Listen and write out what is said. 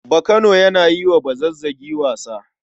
Bakano yana yi wa Bazazzagi wasa.